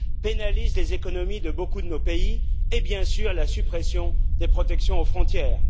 pénalisent les économies de beaucoup de nos pays et, bien sûr, la suppression des protections aux frontières.